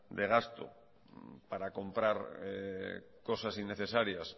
de gasto para comprar cosas innecesarias